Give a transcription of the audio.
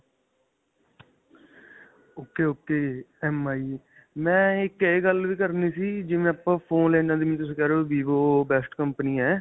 ok ok. MI ਮੈਂ ਇੱਕ ਇਹ ਗੱਲ ਵੀ ਕਰਨੀ ਸੀ, ਜਿਵੇਂ ਆਪਾਂ phone ਜਿਵੇ ਤੁਸੀਂ ਕਿਹ ਰਹੇ ਹੋ VIVO best company ਹੈ.